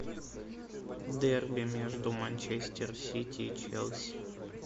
дерби между манчестер сити и челси